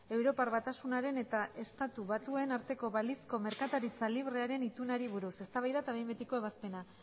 europar batasunaren eta estatu batuen arteko balizko merkataritza librearen itunari buruz eztabaida eta behin betiko ebazpena